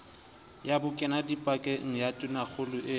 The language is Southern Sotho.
ya bokenadipakeng ya tonakgolo e